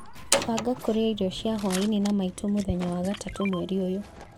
banga kũrĩa irio cia hwaĩinĩ na maitũ mũthenya wa gatatũ mweri ũyũ